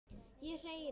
Ég hérna.